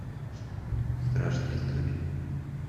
страшные истории